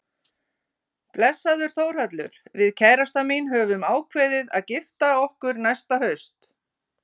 Blessaður Þórhallur, við kærastan mín höfum ákveðið að gifta okkur næsta haust.